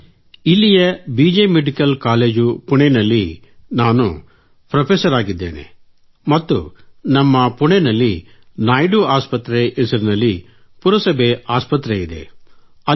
sir ಇಲ್ಲಿಯ B J medical college ಪುಣೆಯಲ್ಲಿ ನಾನು ಫೆÇ್ರಫೆಸರ್ ಆಗಿದ್ದೇನೆ ಮತ್ತು ನಮ್ಮ ಪುಣೆಯಲ್ಲಿ ನಾಯ್ಡು ಆಸ್ಪತ್ರೆ ಹೆಸರಿನಲ್ಲಿ ಪುರಸಭೆ ಆಸ್ಪತ್ರೆಯಿದೆ